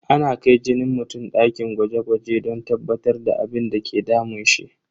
Ana kai jinin mutum dakin gwaje gwaje don tabbatar da abinda ke damun shi.